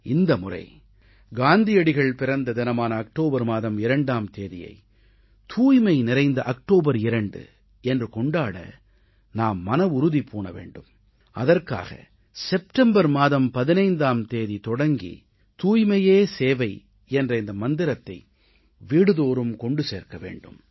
இந்த முறை காந்தியடிகள் பிறந்த தினமான அக்டோபர் மாதம் 2ஆம் தேதியை தூய்மை நிறைந்த அக்டோபர் 2 என்று கொண்டாட நாம் மனவுறுதி பூண வேண்டும் அதற்காக செப்டம்பர் மாதம் 15 தேதி தொடங்கி தூய்மையே சேவை என்ற இந்த மந்திரத்தை வீடுதோறும் கொண்டு சேர்க்க வேண்டும்